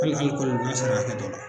n'a sera hakɛ dɔ la